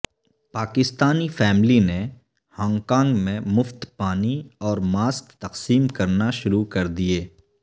Pakistani family نے Hong Kong میں مفت پانی اور ماسک تقسیم کرنا شروع کر دیئے